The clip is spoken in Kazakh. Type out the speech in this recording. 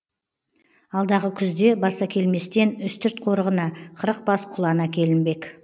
алдағы күзде барсакелместен үстірт қорығына қырық бас құлан әкелінбек